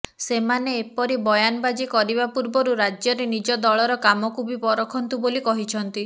ସେମାନେ ଏପରି ବୟାନବାଜୀ କରିବା ପୂର୍ବରୁ ରାଜ୍ୟରେ ନିଜ ଦଳର କାମକୁ ବି ପରଖନ୍ତୁ ବୋଲି କହିଛନ୍ତି